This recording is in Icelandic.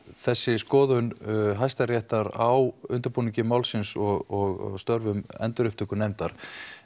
þessi skoðun Hæstaréttar á undirbúningi málsins og starfsemi endurupptökunefndar